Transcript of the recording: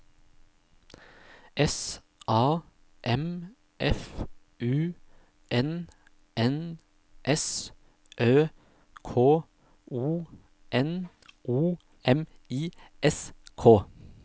S A M F U N N S Ø K O N O M I S K